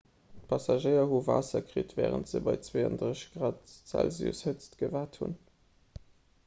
d'passagéier hu waasser kritt wärend se bei 32 °c hëtzt gewaart hunn